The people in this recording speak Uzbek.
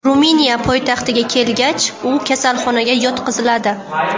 Ruminiya poytaxtiga kelgach, u kasalxonaga yotqiziladi.